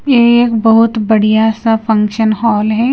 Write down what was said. ये एक बहुत बढ़िया सा फंक्शन हॉल है।